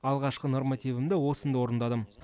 алғашқы нормативімді осында орындадым